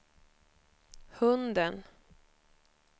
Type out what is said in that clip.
hunden